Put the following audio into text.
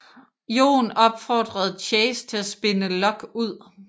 Jon opfordrede Chase til at spinne Lock ud